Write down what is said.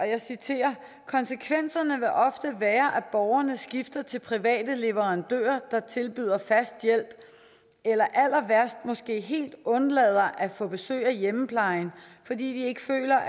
jeg citerer konsekvensen vil ofte være at borgerne skifter til private leverandører der tilbyder fast hjælp eller allerværst måske helt undlader at få besøg af hjemmeplejen fordi de ikke føler